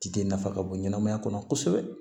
Ci de nafa ka bon ɲɛnɛmaya kɔnɔ kosɛbɛ